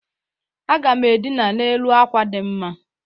Aga m edina n'elu akwa dị mma.